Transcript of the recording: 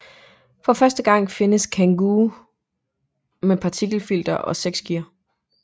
For første gang findes Kangoo med partikelfilter og seks gear